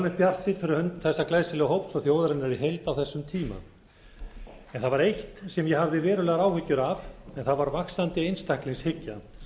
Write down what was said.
almennt bjartsýnn fyrir hönd þessa glæsilega hóps og þjóðarinnar í heild á þessum tíma en það var eitt sem ég hafði verulegar áhyggjur að en það var vaxandi einstaklingshyggja